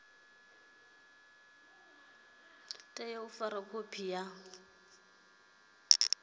tea u fara khophi sa